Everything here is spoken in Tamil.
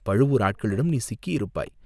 பழுவூர் ஆட்களிடம் நீ சிக்கியிருப்பாய்!